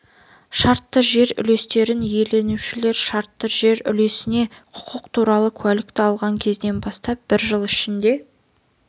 шартты жер үлестерін иеленушілер шартты жер үлесіне құқық туралы куәлікті алған кезден бастап бір жыл ішінде